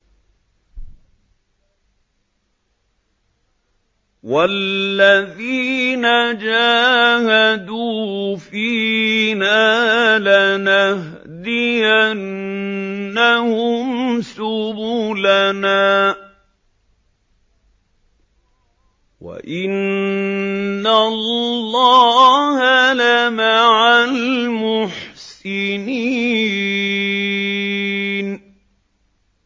وَالَّذِينَ جَاهَدُوا فِينَا لَنَهْدِيَنَّهُمْ سُبُلَنَا ۚ وَإِنَّ اللَّهَ لَمَعَ الْمُحْسِنِينَ